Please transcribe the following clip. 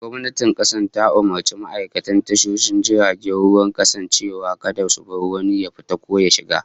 Gwamnatin kasa ta umurci ma'aikatan tashoshin jiragen ruwan kasar cewa kada su bar wani jirgi ya fita ko ya shiga